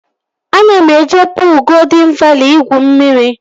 Ana m eje puul Goldịn Vali igwu mmiri